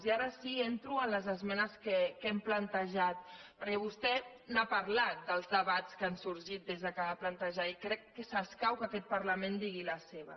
i ara sí entro en les esmenes que hem plantejat per·què vostè n’ha parlat dels debats que han sorgit des que es va plantejar i crec que s’escau que aquest parla·ment hi digui la seva